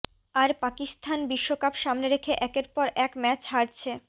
আর পাকিস্তান বিশ্বকাপ সামনে রেখে একের পর এক ম্যাচ হারছে